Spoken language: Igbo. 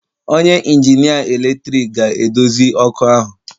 Onye injinia eletrik ga-edozi ọkụ ahu